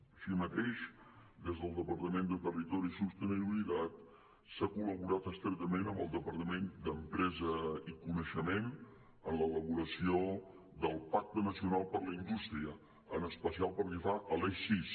així mateix des del departament de territori i sostenibilitat s’ha col·laborat estretament amb el departament d’empresa i coneixement en l’elaboració del pacte nacional per a la indústria en especial pel que fa a l’eix sis